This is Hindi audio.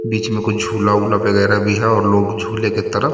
बीच में कुछ झूला ऊला वगैरा भी है और लोग झूले के तरफ--